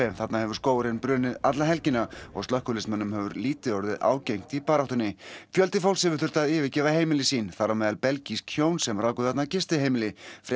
þarna hefur skógurinn brunnið alla helgina og slökkviliðsmönnum hefur lítið orðið ágengt í baráttunni fjöldi fólks hefur þurft að yfirgefa heimili sín þar á meðal belgísk hjón sem ráku þarna gistiheimili